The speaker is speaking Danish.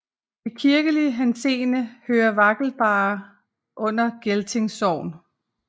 I kirkelig henseende hører Vakkerballe under Gelting Sogn